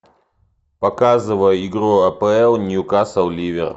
показывай игру апл ньюкасл ливер